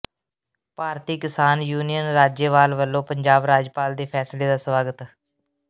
ਭਾਰਤੀ Kisan Union Rajewal ਵੱਲੋਂ ਪੰਜਾਬ ਰਾਜਪਾਲ ਦੇ ਫੈਸਲੇ ਦਾ ਸਵਾਗਤ